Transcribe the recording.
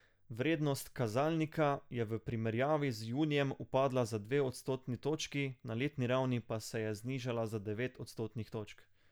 Vrednost kazalnika je v primerjavi z junijem upadla za dve odstotni točki, na letni ravni pa se je znižala za devet odstotnih točk.